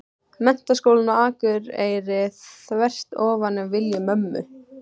Menntaskólann á Akureyri, þvert ofan í vilja mömmu.